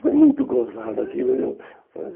Foi muito gozado aquilo viu. Imagino. Mas